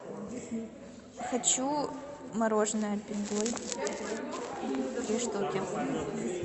хочу мороженое альпен гольд три штуки